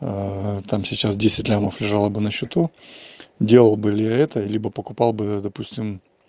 там сейчас десять лямов лежало бы на счету делал бы ли это либо покупал бы допустим